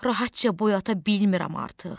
Rahatca boy ata bilmirəm artıq.